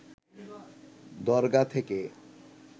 দরগা থেকে